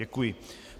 Děkuji.